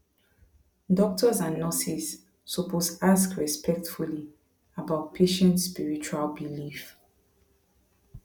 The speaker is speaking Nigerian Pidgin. doctors and nurses suppose ask respectfully about patient spiritual belief